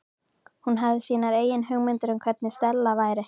Hún hafði sínar eigin hugmyndir um hvernig Stella væri.